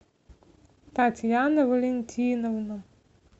татьяна валентиновна